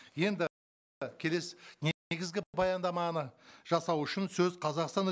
енді келесі баяндаманы жасау үшін сөз қазақстан